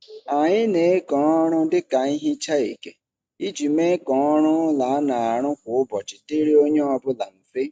Anyị na-eke ọrụ dị ka nhicha eke iji mee ka ọrụ ụlọ a na-arụ kwa ụbọchị dịrị onye ọbụla mfe.